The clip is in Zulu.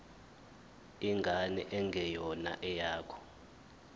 ingane engeyona eyakho